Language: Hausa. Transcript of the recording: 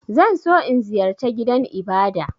Zan so in ziyarce gidan Ibada.